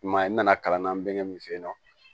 I m'a ye n nana kalan na n bɛ min f'e ye nɔn